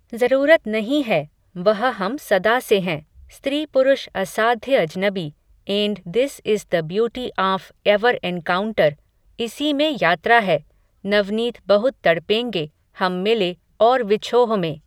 ज़रूरत नहीं है, वह हम सदा से हैं, स्त्रीपुरुष असाध्य अजनबी, and this is the beauty of our encounter, इसी में यात्रा है, नवनीत बहुत तड़पेंगे हम मिले और विछोह में